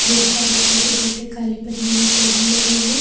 बहुत सारे छोटे-छोटे कालीपन्नी में पौधे रहते हैं।